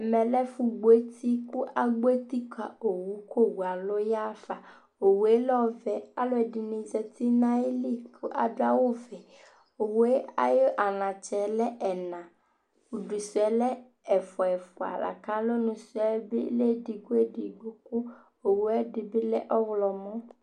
Ɛmɛ yɛ lɛ ɛfʊgboeti, kʊ agbɔ eti kʊ owu kʊ owu alʊ yaɣafa Owu yɛ lɛ ɔvɛ Alʊ ɛdɩnɩ zatɩ nʊ ayili kʊ adʊ awuvɛ Awu yɛ ayʊ anatsɛ lɛ ɛna Udu suɛ lɛ ɛfwa ɛfwa lakʊ alɔnu suɛ bɩ lɛ edigbo edigbo kʊ owu ɛdɩbɩ lɛ ɔwlɔmɔ